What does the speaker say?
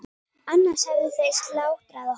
Annars hefðu þeir slátrað okkur.